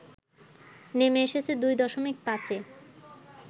নেমে এসেছে দুই দশমিক পাঁচে